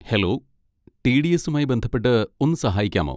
Hello, T. D. എസുമായി ബന്ധപ്പെട്ട് ഒന്ന് സഹായിക്കാമോ?